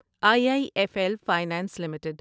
I I F L finance limited